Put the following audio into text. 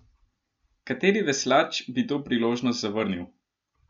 Kateri veslač bi to priložnost zavrnil?